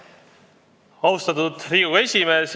Austatud Riigikogu esimees!